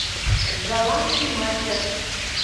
голландский мастер